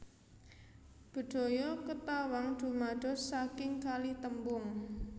Bedhaya Ketawang dumados saking kalih tembung